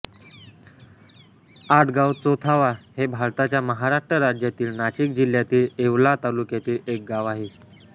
आडगावचोथावा हे भारताच्या महाराष्ट्र राज्यातील नाशिक जिल्ह्यातील येवला तालुक्यातील एक गाव आहे